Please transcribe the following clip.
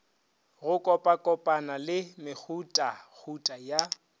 go kopakopana le mehutahuta ya